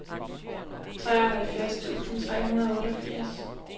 treoghalvfjerds tusind tre hundrede og otteogfirs